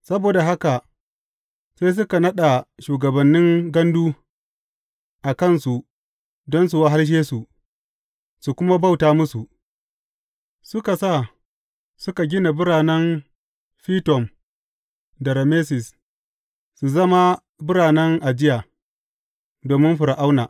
Saboda haka sai suka naɗa shugabannin gandu a kansu don su wahalshe su, su kuma bauta musu, suka sa su suka gina biranen Fitom da Rameses su zama biranen ajiya, domin Fir’auna.